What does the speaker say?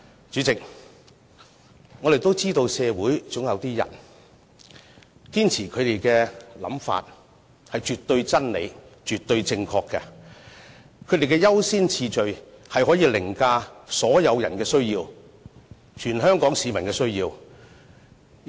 主席，我們都知道社會上總有一些人，堅持自己的想法是絕對真理、絕對正確，他們的優先次序可以凌駕所有人的需要，凌駕全香港市民的需要。